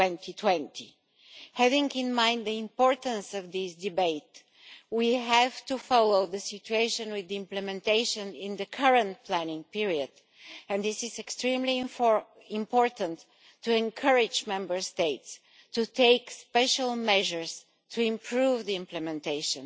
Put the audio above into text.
2020. Bearing in mind the importance of this debate, we need to follow the situation with regard to implementation in the current planning period, and it is extremely important to encourage Member States to take special measures to improve implementation,